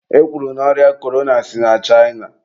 e kwuru na ọrịa korona si na China.